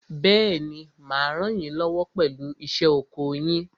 Bẹ́ẹ̀ni, mà á ràn yín lọ́wọ́ pẹ̀lú iṣẹ́ oko yín.